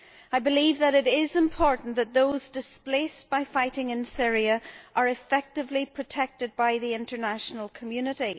I believe that it is important that those displaced by fighting in Syria are effectively protected by the international community.